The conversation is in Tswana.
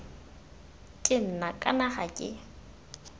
ke nna kana ga ke